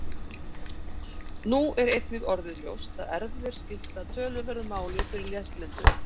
Nú er einnig orðið ljóst að erfðir skipta töluverðu máli fyrir lesblindu.